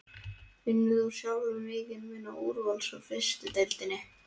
Finnur þú sjálfur mikinn mun á úrvals og fyrstu deildinni?